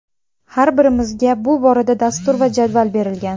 Har birimizga bu borada dastur va jadval berilgan.